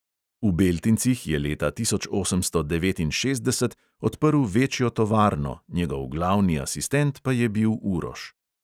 V beltincih je leta tisoč osemsto devetinšestdeset odprl večjo tovarno, njegov glavni asistent pa je bil uroš.